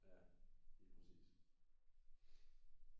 Ja lige præcis